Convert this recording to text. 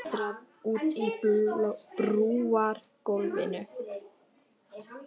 Og nú skein sólin á hann óhindrað úti á brúargólfinu.